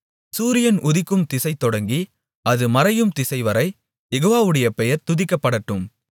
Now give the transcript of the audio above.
சூரியன் உதிக்கும் திசைதொடங்கி அது மறையும் திசைவரை யெகோவாவுடைய பெயர் துதிக்கப்படட்டும்